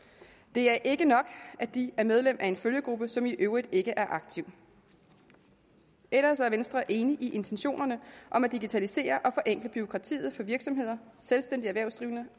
det er ikke nok at de er medlem af en følgegruppe som i øvrigt ikke er aktiv ellers er venstre enig i intentionerne om at digitalisere og forenkle bureaukratiet for virksomheder selvstændigt erhvervsdrivende